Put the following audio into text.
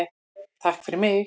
TAKK FYRIR MIG.